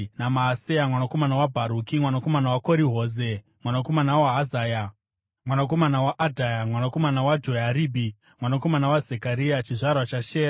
naMaaseya mwanakomana waBharuki, mwanakomana waKori-Hoze, mwanakomana waHazaya, mwanakomana waAdhaya, mwanakomana waJoyaribhi, mwanakomana waZekaria, chizvarwa chaShera.